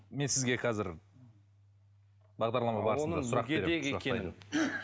мен сізге қазір бағдарлама барысында сұрақ беремін